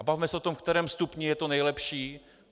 A bavme se o tom, ve kterém stupni je to nejlepší.